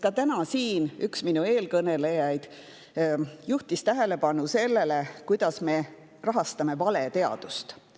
Ka täna siin üks eelkõnelejaid juhtis tähelepanu sellele, kuidas me rahastame valeteadust.